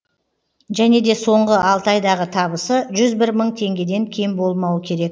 және де соңғы алты айдағы табысы жүз бір мың теңгеден кем болмауы керек